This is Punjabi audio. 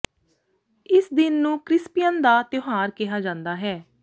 ਇਸ ਦਿਨ ਨੂੰ ਕ੍ਰਿਸਪੀਅਨ ਦਾ ਤਿਉਹਾਰ ਕਿਹਾ ਜਾਂਦਾ ਹੈ